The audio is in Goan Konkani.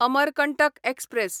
अमरकंटक एक्सप्रॅस